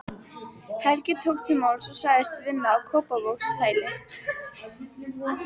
Helga tók til máls og sagðist vinna á Kópavogshæli.